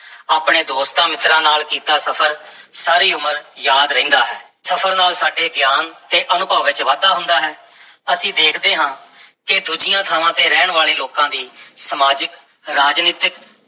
ਆਪਣੇ ਦੋਸਤਾਂ-ਮਿੱਤਰਾਂ ਨਾਲ ਕੀਤਾ ਸਫ਼ਰ ਸਾਰੀ ਉਮਰ ਯਾਦ ਰਹਿੰਦਾ ਹੈ, ਸਫ਼ਰ ਨਾਲ ਸਾਡੇ ਗਿਆਨ ਤੇ ਅਨੁਭਵ ਵਿੱਚ ਵਾਧਾ ਹੁੰਦਾ ਹੈ ਅਸੀਂ ਦੇਖਦੇ ਹਾਂ ਕਿ ਦੂਜੀਆਂ ਥਾਵਾਂ ਤੇ ਰਹਿਣ ਵਾਲੇ ਲੋਕਾਂ ਦੀ ਸਮਾਜਿਕ, ਰਾਜਨੀਤਕ